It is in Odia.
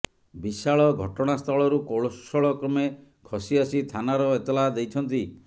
ବିଶାଳ ଘଟଣାସ୍ଥଳରୁ କୌଶଳ କ୍ରମେ ଖସି ଆସି ଥାନାର ଏତଲା ଦେଇଛନ୍ତି